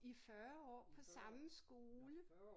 I 40 år på samme skole